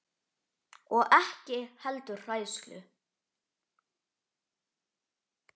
Og ekki heldur hræðslu